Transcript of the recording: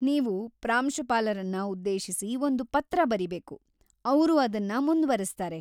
ನೀವು ಪ್ರಾಂಶುಪಾಲರನ್ನ ಉದ್ದೇಶಿಸಿ ಒಂದು ಪತ್ರ ಬರೀಬೇಕು, ಅವ್ರು ಅದನ್ನ ಮುಂದುವರೆಸ್ತಾರೆ.